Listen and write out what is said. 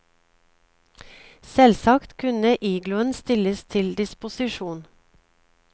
Selvsagt kunne igloen stilles til disposisjon.